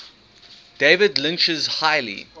david lynch's highly